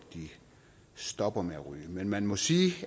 stopper med at ryge men man må sige